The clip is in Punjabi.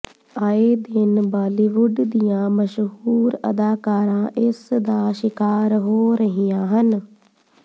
ਆਏ ਦਿਨ ਬਾਲੀਵੁੱਡ ਦੀਆਂ ਮਸ਼ਹੂਰ ਅਦਾਕਾਰਾਂ ਇਸ ਦਾ ਸ਼ਿਕਾਰ ਹੋ ਰਹੀਆਂ ਹਨ